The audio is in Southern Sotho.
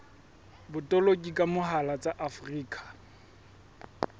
botoloki ka mohala tsa afrika